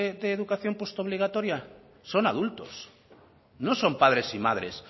de educación post obligatoria son adultos no son padres y madres